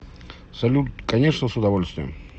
салют конечно с удовольствием